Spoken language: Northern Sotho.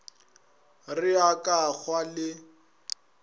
re a ka hwa le